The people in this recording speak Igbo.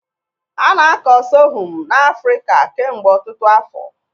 A na-akọ Sorghum n'Afrịka kemgbe ọtụtụ afọ.